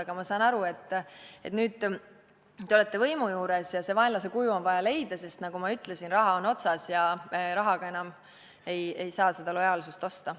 Aga ma saan aru, et nüüd te olete võimu juures ja see vaenlase kuju on vaja leida, sest, nagu ma ütlesin, raha on otsas ja rahaga enam ei saa seda lojaalsust osta.